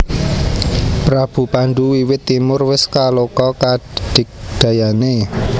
Prabu Pandhu wiwit timur wis kaloka kadigdayané